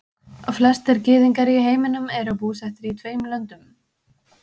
flestir gyðingar í heiminum eru búsettir í tveimur löndum